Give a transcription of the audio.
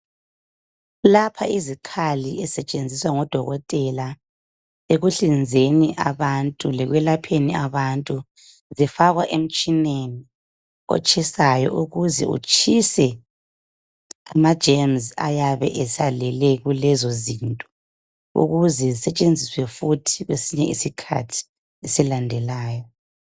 Lapha izikhali ezisetshenziswa ngodokotela ekuhlinzeni abantu, lekwelapheni abantu zifakwa emtshineni otshisayo ukuze utshise amajemzi ayabe esalele kulezo zinto, ukuze zisitshanziswe futhi kwesinye isikhathi esilandelayo